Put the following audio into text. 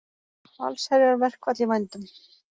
Allsherjarverkfall í vændum